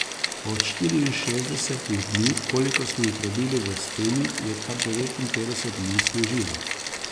Od štiriinšestdesetih dni, kolikor smo jih prebili v steni, je kar devetinpetdeset dni snežilo.